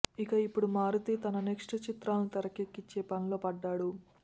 ఇక ఇప్పుడు మారుతి తన నెక్ట్స్ చిత్రాలను తెరకెక్కించే పనిలో పడ్డాడు